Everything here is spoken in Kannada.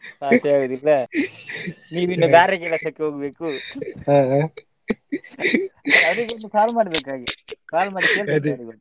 Pass ಏ ಆಗುದಿಲ್ಲ ನೀವು ಇನ್ನು ಗಾರೆ ಕೆಲಸಕ್ಕೆ ಹೋಗ್ಬೇಕು ಅವರಿಗೆ ಇನ್ನು call call ಮಾಡಿ .